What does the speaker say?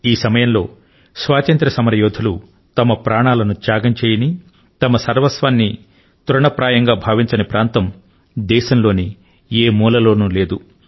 ఈ సమయంలో స్వాతంత్య్ర సమరయోధులు వారి ప్రాణాలను త్యాగం చేయని తమ సర్వస్వాన్ని తృణప్రాయంగా భావించని ప్రాంతం అంటూ దేశం లోని ఏ మూలలోనూ లేదు